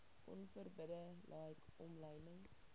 onverbidde like omlynings